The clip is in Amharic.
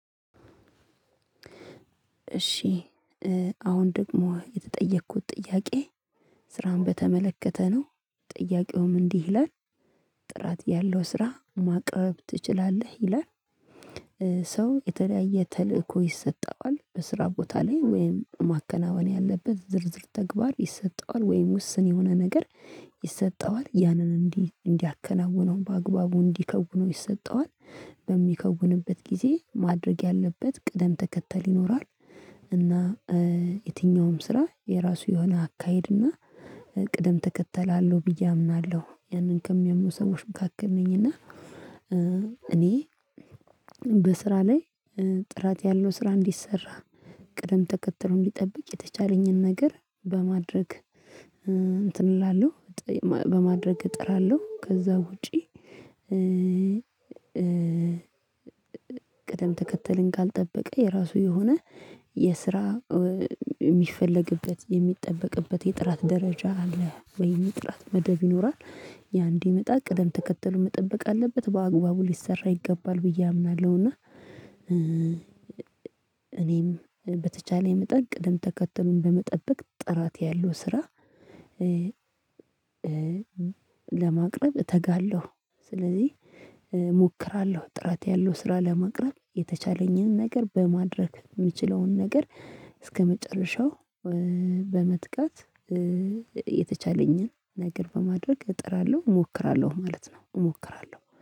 እሺ አሁን ደግሞ የተጠየኩት ጥያቄ ስራን በተመለከተ ነው ጥያቄውም እንዲህ ይላል ጥራት ያለው ስራ ማቅረብ ትችላለህ ይላል? ሰው የተለያየ ተልእኮ ይሰጠዋል በስራ ቦታ ላይ ወይም ማከናወን ያለበት ዝርዝር ተግባር ይሰጠዋል ወይም ውስን የሆነ ነገር ይሰጠዋል ያንን እንዲህ እንዲያከናውነው በአግባቡ እንዲከውነው ይሰጠዋል። በሚከውንበት ጊዜ ማድረግ ያለበት ቅደም ተከተል ይኖራል። እና የትኛውም ስራ የራሱ የሆነ አካሄድ እና ቅደም ተከተል አለው ብዬ አምናለሁ ያንን ከሚያምኑ ሰዎች መካከል ነኝ። እና እኔ በስራ ላይ ጥራት ያለው ስራ እንዲሰራ ቅደም ተከትሎ እንዲጠብቅ የተቻለኝን ነገር በማድረግ እንትን እላለሁ። በማድረግ እጥራለሁ ከዛ ውጪ። ቅደም ተከተልን ካልጠበቀ የራሱ የሆነ የስራ የሚፈለግበት የሚጠበቅበት የጥራት ደረጃ አለህ ወይም የጥራት መደብ ይኖራል ያ እንዲመጣ ቅደም ተከተሉ መጠበቅ አለበት በአግባቡ ሊሰራ ይገባል ብዬ አምናለሁ። እና እኔም በተቻለ መጠን ቅድም ተከተሉን በመጠበቅ ጥራት ያለው ስራ ለማቅረብ እተጋለሁ። ስለዚህ እሞክራለሁ ጥራት ያለው ስራ ለማቅረብ የተቻለኝን ነገር በማድረግ የምችለውን ነገር እስከመጨረሻው በመትጋት የተቻለኝን ነገር በማድረግ እጥራለሁ እሞክራለሁ ማለት ነው እሞክራለሁ